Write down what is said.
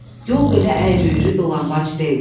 Yol belə əyri-üyrü, dolanbac deyildi.